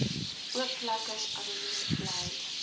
oopvlekkers anoniem bly